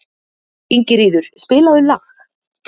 Ingiríður, spilaðu lag.